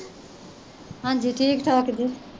ਹਾਂਜੀ ਠੀਕ ਠਾਕ ਜੀ